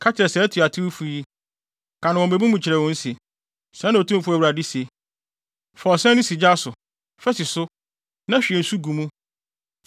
Ka kyerɛ saa atuatewfo yi, ka no wɔ mmebu mu kyerɛ wɔn se: ‘Sɛɛ na Otumfo Awurade se: “ ‘Fa ɔsɛn no si gya so; fa si so na hwie nsu gu mu.